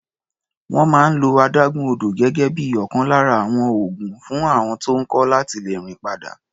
Wọ́n máa ń lo adágún odò gẹ́gẹ́ bí ọ̀kan lára àwọn oògùn fún àọn tó ń kọ́ láti lè rìn padà.